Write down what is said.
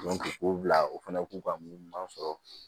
k'u bila u fana k'u ka mun ɲuman sɔrɔ